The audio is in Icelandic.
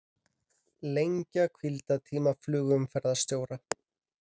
Lengja hvíldartíma flugumferðarstjóra